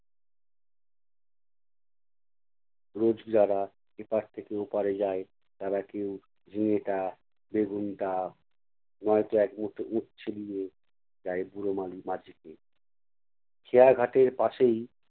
রোজ যারা এপাড় থেকে ওপাড়ে যায় তারা কেউ ঝিঙেটা, বেগুনটা নয়তো এক মুঠো উচ্ছে দিয়ে যায় বুড়ো মালি~ মাঝিকে। খেয়া ঘাটের পাশেই